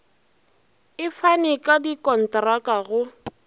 e fane ka dikontraka go